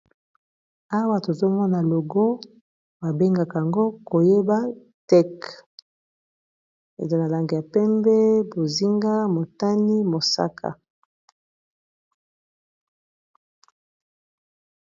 Awa tozomona logo babengaka yango koyeba teke eza na lange ya pembe bozinga motani mosaka